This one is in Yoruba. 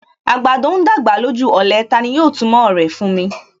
Àgbàdo ń dàgbà lójú ọ̀lẹ; Tani yóò túmọ̀ rẹ̀ fún mi.